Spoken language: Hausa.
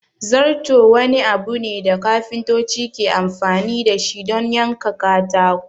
Zarto wani abu ne da kafintoci ke amfani dashi don yanka katako